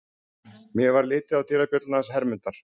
Mér varð litið á dyrabjölluna hans Hermundar.